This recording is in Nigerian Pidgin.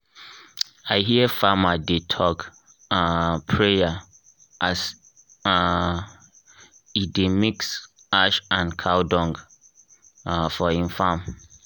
i hear farmer dey talk um prayer as um e dey mix ash and cow dung for im farm.